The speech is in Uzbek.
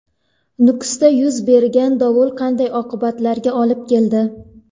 Nukusda yuz bergan dovul qanday oqibatlarga olib keldi?